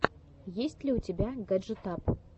есть ли у тебя гаджетап